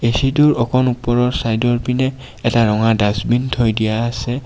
অকন ওপৰৰ চাইড ৰ পিনে এটা ৰঙা দাচবিন থৈ দিয়া আছে.